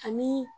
Ani